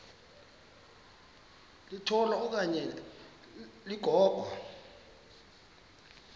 litola okanye ligogo